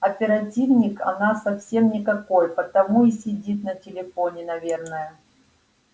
оперативник она совсем никакой потому и сидит на телефоне наверное